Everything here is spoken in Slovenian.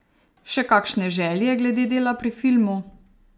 Še kakšne želje glede dela pri filmu?